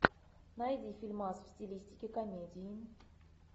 найди фильмас в стилистике комедии